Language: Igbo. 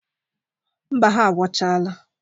Mba, ha agwọchala.